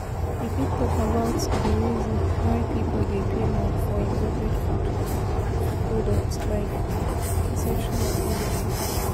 You fit talk about di reason why people dey pay more for imported food food products, like perception of quality.